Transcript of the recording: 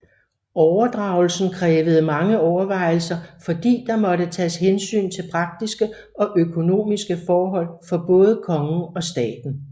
Overdragelsen krævede mange overvejelser fordi der måtte tages hensyn til praktiske og økonomiske forhold for både kongen og staten